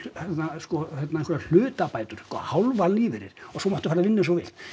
sko einhverjar hlutabætur hálfan lífeyrir og svo máttu fara að vinna eins og þú vilt